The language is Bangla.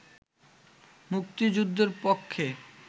মুক্তিযুদ্ধের পক্ষে